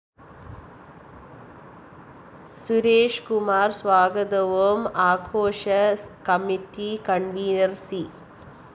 സുരേഷ് കുമാര്‍ സ്വാഗതവും ആഘോഷ committee convener‍ C